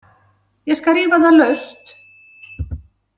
Ég skal rífa það laust!